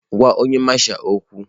Gwa onye Masha okwu!